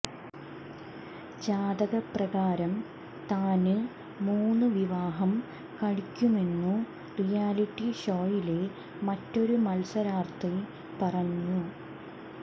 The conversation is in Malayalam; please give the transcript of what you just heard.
ജാതകപ്രകാരം താന് മൂന്ന് വിവാഹം കഴിക്കുമെന്നു റിയാലിറ്റി ഷോയിലെ മറ്റൊരു മത്സരാർഥി പറഞ്ഞു